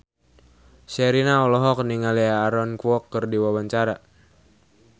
Sherina olohok ningali Aaron Kwok keur diwawancara